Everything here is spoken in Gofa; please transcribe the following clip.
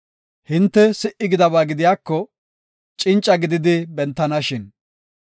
Hinte si77i gidaba gidiyako, cinca gidi bentanashin!